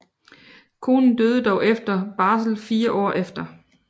Konen døde dog efter barsel fire år efter